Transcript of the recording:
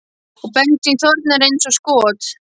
Og bensín þornar eins og skot.